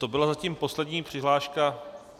To byla zatím poslední přihláška.